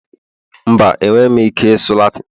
mba, enweghị m ike ịsụ Latin